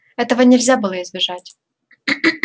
этого нельзя было избежать